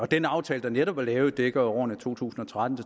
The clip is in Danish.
den aftale der netop er lavet dækker jo årene to tusind og tretten